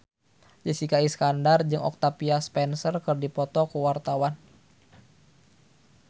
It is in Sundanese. Jessica Iskandar jeung Octavia Spencer keur dipoto ku wartawan